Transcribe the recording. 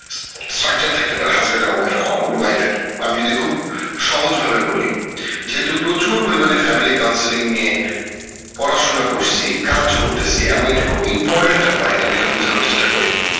থাকতে পারে husband আর wife wife এর আমি যদি খুব সহজ ভাবে বলি যেহেতুই প্রচুর পরিমানে family counselling নিয়ে পড়াশোনা করসি কাজ করতেসি এমন এইটা খুব important একটা point আমি এটা বুঝানোর চেষ্টা করি